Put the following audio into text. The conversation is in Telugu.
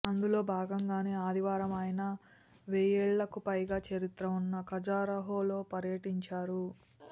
అందులో భాగంగానే ఆదివారం ఆయన వెయ్యేళ్లకుపైగా చరిత్ర ఉన్న ఖజురహోలో పర్యటించారు